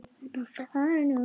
Fyrir framan Iðnó.